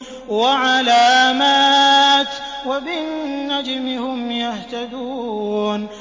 وَعَلَامَاتٍ ۚ وَبِالنَّجْمِ هُمْ يَهْتَدُونَ